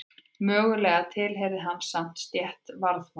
Mögulega tilheyrði hann samt stétt varðmanna.